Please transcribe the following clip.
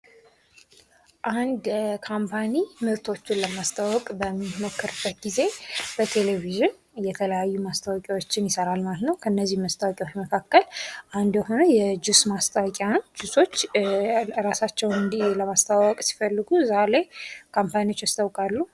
አንድ ካምፓኒ ምርቶቹን ለማስተዋወቅ በሚሞክርበት ጊዜ በቴሌቪዥን የተለያዩ ማስታወቂያዎችን ይሰራል ማለት ነው ከነዚህ ማስታወቂያዎች መካከል አንዱ የሆነው የጁስ ማስታወቂያ ነው ጁሶች እራሳቸውን ለማስተዋወቅ ሲፈልጉ እዛ ላይ ካምፓኒዎች ያስተዋውቃሉ።